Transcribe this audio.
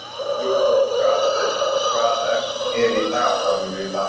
Rudolf, hvað er í dagatalinu í dag?